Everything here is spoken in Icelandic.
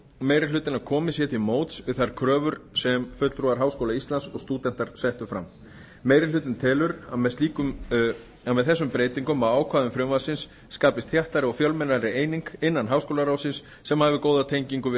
hlutinn að komið sé til móts við þær kröfur sem fulltrúar háskóla íslands og stúdentar settu fram meiri hlutinn telur að með þessum breytingum á ákvæðum frumvarpsins skapist þéttari og fjölmennari eining innan háskólaráðsins sem hafi góða tengingu við